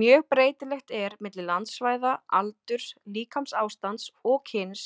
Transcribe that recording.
Mjög breytilegt er milli landsvæða, aldurs, líkamsástands og kyns